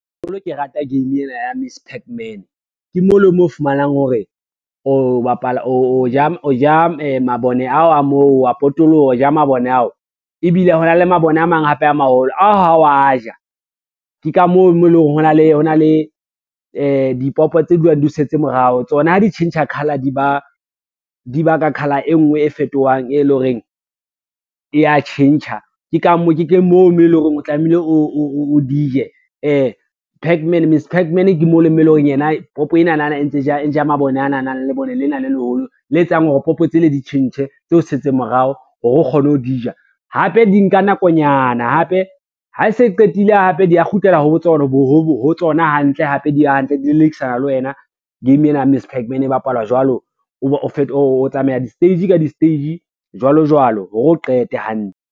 Ke rata game ena ya Miss Pac Man ke mo le moo o fumanang hore o ja mabone ao a moo wa potoloha o ja mabone ao, ebile ho na le mabone a mang hape a maholo ao hao wa ja, ke ka moo mo eleng hore ho na le dipopo tse dulang di o setse morao tsona ha di tjhentjha color di ba ka colour e ngwe e fetohang e lo reng e a tjhentjha. Ke moo mo eleng hore o tlamehile o di je Miss Pac Man ke mo le mo e lo reng yena popo enana e ntse e ja mabone ana nang le lebone lena le leholo le etsang hore popo tse le di tjhentjhe tse setseng morao, hore o kgone ho di ja. Hape di nka nakonyana hape ha se qetile, hape di a kgutlela ho tsona hantle hape di hantle di lelekisana le wena, game ena ya Miss Pac Man e bapalwa jwalo. O tsamaya di-stage ka di-stage jwalo jwalo hore o qete hantle.